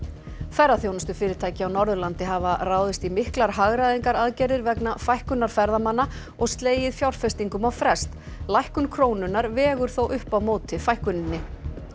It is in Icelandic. ferðaþjónustufyrirtæki á Norðurlandi hafa ráðist í miklar hagræðingaraðgerðir vegna fækkunar ferðamanna og slegið fjárfestingum á frest lækkun krónunnar vegur þó upp á móti fækkuninni